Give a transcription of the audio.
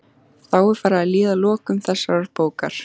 Þá er farið að líða að lokum þessarar bókar.